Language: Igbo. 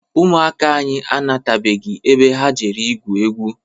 Ụmụaka anyị anatabeghị ebe ha jere igwu egwu.